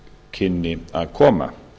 kynni að koma